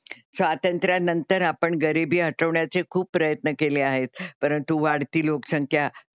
स्वातंत्र्यानंतर आपण गरीबी हटवण्याचे खूप प्रयत्न केले आहेत, परंतु वाढती लोकसंख्या,